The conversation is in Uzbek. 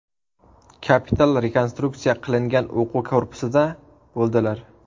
Kapital rekonstruksiya qilingan o‘quv korpusida bo‘ldilar.